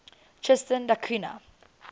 tristan da cunha